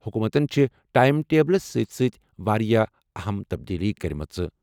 حکوٗمتَن چھِ ٹایِم ٹیبلَس سۭتۍ سۭتۍ واریاہ اَہَم تبدیلیہٕ کٔرمٕژ۔